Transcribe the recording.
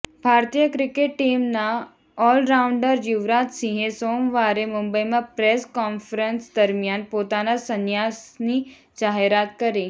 ભારતીય ક્રિકેટ ટીમના ઓલરાઉંડર યુવરાજ સિંહે સોમવારે મુંબઈમાં પ્રેસ કોન્ફરંસ દરમિયાન પોતાના સંન્યાસની જાહેરાત કરી